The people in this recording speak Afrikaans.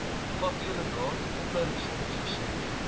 vakleerlingraad opleidingsfonds versekering